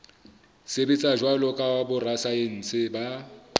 sebetsa jwalo ka borasaense ba